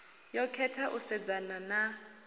yo khetha u sedzana na